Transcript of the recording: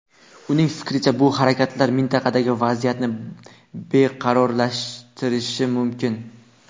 Uning fikricha, bu harakatlar mintaqadagi vaziyatni beqarorlashtirishi mumkin.